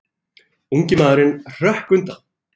Ungi maðurinn hrökk undan.